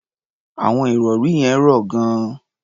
Àwọn ìrọ̀rí yẹn rọ̀ gan-an.